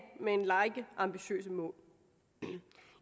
med en række ambitiøse mål